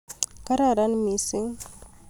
"Kararen mising .